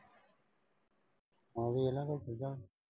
ਉਹੀ ਇਨ੍ਹਾਂ ਸੀਗਾ।